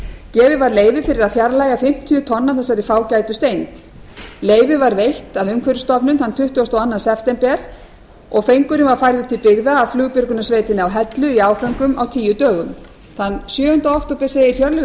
gefið var leyfi fyrir að fjarlægja fimmtíu tonn af þessari fágætu steintegund leyfið var veitt af umhverfisstofnun þann tuttugasta og annan september og fengurinn var færður til byggða af flugbjörgunarsveitinni á hellu í áföngum á tíu dögum þann sjöunda október segir hjörleifur